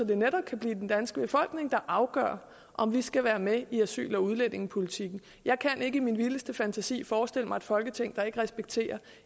det netop kan blive den danske befolkning der afgør om vi skal være med i asyl og udlændingepolitikken jeg kan ikke i min vildeste fantasi forestille mig et folketing der ikke respekterer